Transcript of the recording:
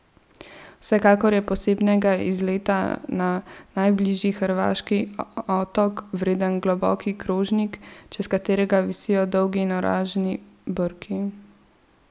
Vsekakor je posebnega izleta na najbližji hrvaški otok vreden globoki krožnik, čez katerega visijo dolgi in oranžni brki.